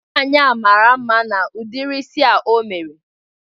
Nwaanyi a mara ezigbo mma n'udiri isi a o mere